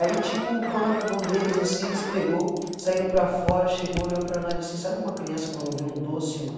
Aí, tipo, quando acabou o deles, assim, eles pegou, saíram para fora, chegou, olhou para nós, assim, sabe uma criança quando vê um doce, mano.